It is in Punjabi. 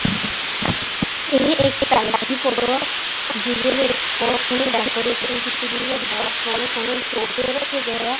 ਜਿਹਦੇ ਵਿੱਚ ਬਹੁਤ ਸੋਹਣੀ ਡੈਕੋਰੇਸ਼ਨ ਕੀਤੀ ਗਈ ਹੈ ਬਹੁਤ ਸੋਹਣੇ ਸੋਹਣੇ ਸੋਫੇ ਰੱਖੇ ਗਏ ਆ।